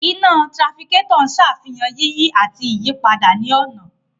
Iná tirafikétọ̀ ń sàfihàn yíyí àti ìyípadà ní ọ̀nà